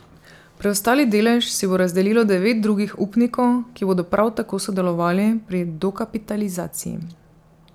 Preostali delež si bo razdelilo devet drugih upnikov, ki bodo prav tako sodelovali pri dokapitalizaciji.